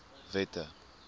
wette